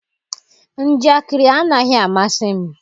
njakịrị anaghị amasị m.